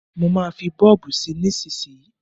Má fí bọ́ọ̀bù sí nísísíyí.